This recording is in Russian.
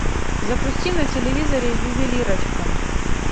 запусти на телевизоре ювелирочка